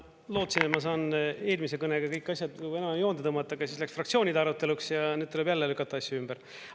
Ma lootsin, et ma saan eelmise kõnega kõik asjad enam-vähem joonde tõmmata, aga siis läks fraktsioonide aruteluks ja need tuleb jälle lükata asju ümber.